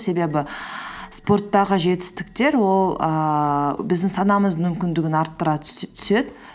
себебі спорттағы жетістіктер ол ііі біздің санамыздың мүмкіндігін арттыра түседі